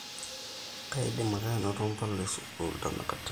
kaidim ake anoto mpala esukuul tenakata